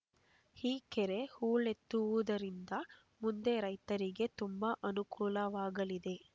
ಈ ಕೆರೆ ಹೂಳೆತ್ತುವುದರಿಂದ ಮುಂದೆ ರೈತರಿಗೆ ತುಂಬಾ ಅನುಕೂಲವಾಗಲಿದೆ